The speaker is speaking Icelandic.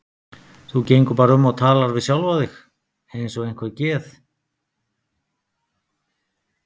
Þú gengur bara um og talar við sjálfa þig eins og einhver geð